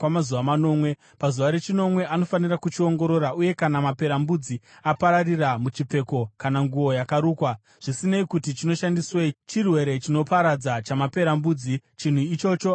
Pazuva rechinomwe anofanira kuchiongorora uye kana maperembudzi apararira muchipfeko kana nguo yakarukwa, zvisinei kuti chinoshandiswei, chirwere chinoparadza chamaperembudzi; chinhu ichocho hachina kuchena.